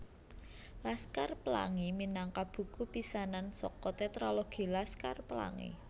Laskar Pelangi minangka buku pisanan saka Tetralogi Laskar Pelangi